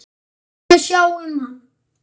Aðrir munu sjá um það.